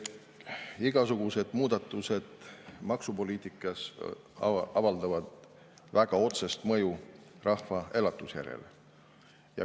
Igasugused muudatused maksupoliitikas avaldavad väga otsest mõju rahva elujärjele.